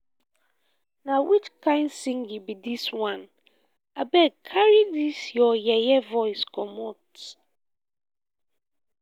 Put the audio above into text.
na which kin singing be dis one? abeg carry dis your yeye voice comot